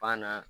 Banna